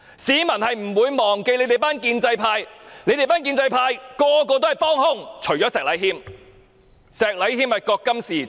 市民不會忘記建制派全體議員是政府的幫兇，覺今是而昨非的石禮謙議員除外。